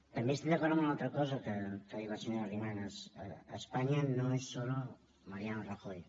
també estic d’acord amb una altra cosa que ha dit la senyora arrimadas españa no es solo mariano rajoy